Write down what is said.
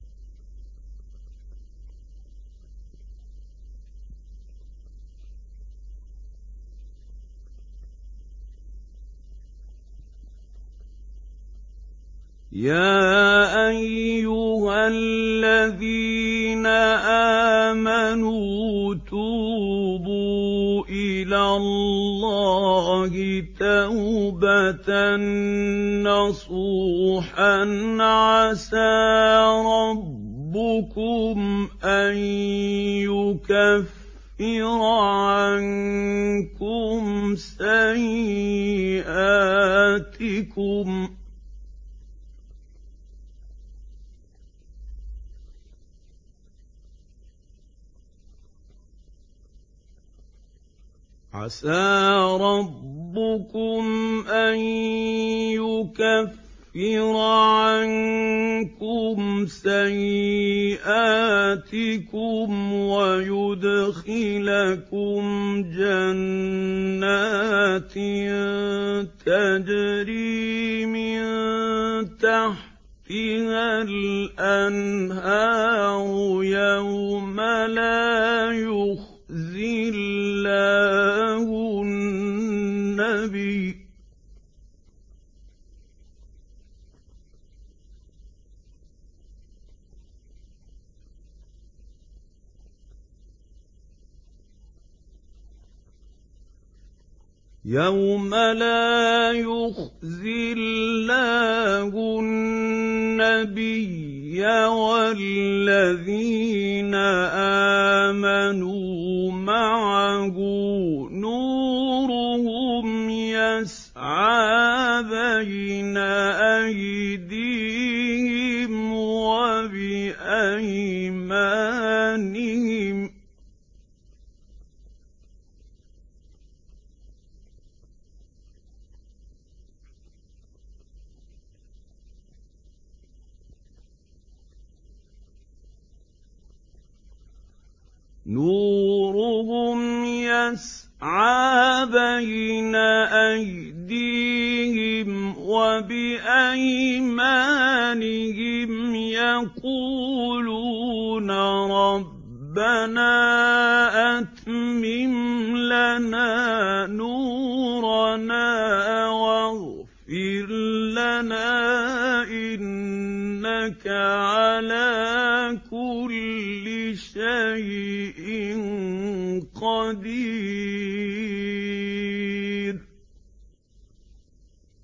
يَا أَيُّهَا الَّذِينَ آمَنُوا تُوبُوا إِلَى اللَّهِ تَوْبَةً نَّصُوحًا عَسَىٰ رَبُّكُمْ أَن يُكَفِّرَ عَنكُمْ سَيِّئَاتِكُمْ وَيُدْخِلَكُمْ جَنَّاتٍ تَجْرِي مِن تَحْتِهَا الْأَنْهَارُ يَوْمَ لَا يُخْزِي اللَّهُ النَّبِيَّ وَالَّذِينَ آمَنُوا مَعَهُ ۖ نُورُهُمْ يَسْعَىٰ بَيْنَ أَيْدِيهِمْ وَبِأَيْمَانِهِمْ يَقُولُونَ رَبَّنَا أَتْمِمْ لَنَا نُورَنَا وَاغْفِرْ لَنَا ۖ إِنَّكَ عَلَىٰ كُلِّ شَيْءٍ قَدِيرٌ